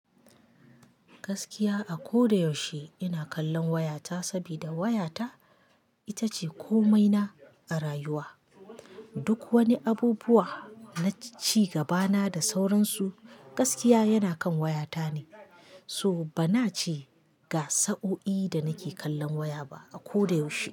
Gaskiya a koda yaushe ina kallon wayata saboda wayata ita ce komaina a rayuwa. Duk wani abubuwa naci gabana da sauransu, gaskiya yana kan wayata ne. So bana ce ga sa'o'i da nake kallon waya ba a koda yaushe.